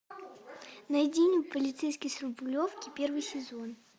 найди мне полицейский с рублевки первый сезон